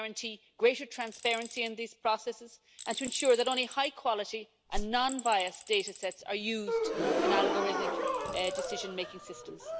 to guarantee greater transparency in these processes and to ensure that only high quality and non biased data sets are used in algorithmic decision making systems.